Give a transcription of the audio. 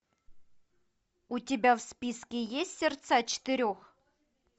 у тебя в списке есть сердца четырех